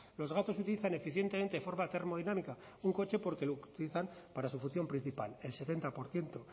los gatos utilizan eficientemente forma termodinámica un coche porque lo utilizan para su función principal el setenta por ciento